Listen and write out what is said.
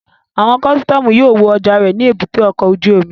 Àwọn kọ́sítọ́mù yóò wo ọjà rẹ ní èbúté ọkọ̀ ojú omi